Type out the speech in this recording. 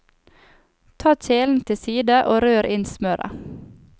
Ta kjelen til side og rør inn smøret.